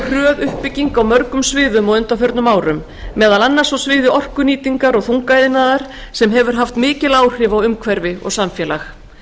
hröð uppbygging á mörgum sviðum á undanförnum árum meðal annars á sviði orkunýtingar og þungaiðnaðar sem hefur haft mikil áhrif á umhverfi og samfélag